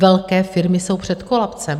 Velké firmy jsou před kolapsem.